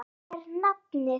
Hvað er nafnið?